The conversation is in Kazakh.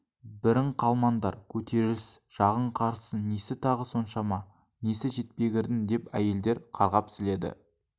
бірің қалмаңдар көтеріліс жағың қарыссын несі тағы соншама несі жетпегірдің деп әйелдер қарғап-сіледі